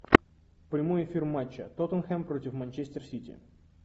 прямой эфир матча тоттенхэм против манчестер сити